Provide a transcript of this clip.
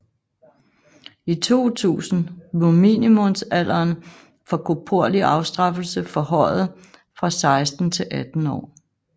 I 2000 blev minimumalderen for korporlig afstraffelse forhøjet fra 16 til 18 år